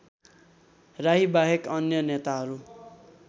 राईबाहेक अन्य नेताहरू